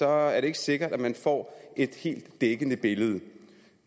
er det ikke sikkert at man får et helt dækkende billede